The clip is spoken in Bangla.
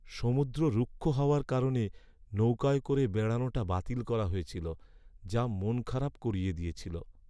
সমুদ্র রুক্ষ হওয়ার কারণে নৌকায় করে বেড়ানোটা বাতিল করা হয়েছিল যা মন খারাপ করিয়ে দিয়েছিল।